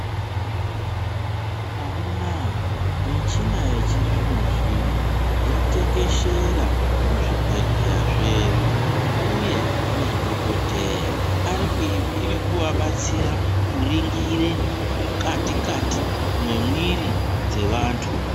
Amunaa michina yechizvino zvino yatekeshera muzvibhedhleya zvedu uye madhokodhera irikuvabatsira kuringira mukati kati memwiri dzevantu.